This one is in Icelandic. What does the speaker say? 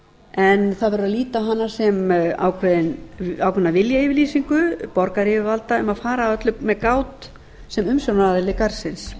en það verður að líta á hana sem ákveðna viljayfirlýsingu borgaryfirvalda um að fara að öllu með gát sem umsjónaraðili garðsins